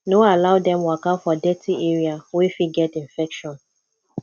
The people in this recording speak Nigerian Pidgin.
no allow dem waka for dirty area wey fit get infection